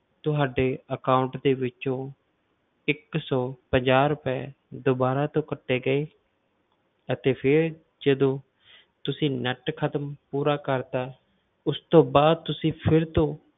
ਤੁਹਾਡੇ account ਦੇ ਵਿੱਚੋਂ ਇੱਕ ਸੌ ਪੰਜਾਹ ਰੁਪਏ ਦੁਬਾਰਾ ਤੋਂ ਕੱਟੇ ਗਏ ਅਤੇ ਫਿਰ ਜਦੋਂ ਤੁਸੀਂ net ਖ਼ਤਮ ਪੂਰਾ ਕਰ ਦਿੱਤਾ, ਉਸ ਤੋਂ ਬਾਅਦ ਤੁਸੀਂ ਫਿਰ ਤੋਂ